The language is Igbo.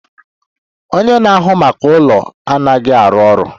Onye na-ahụ maka ụlọ anaghị arụ ọrụ